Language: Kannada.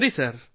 ಸರಿ ಸರ್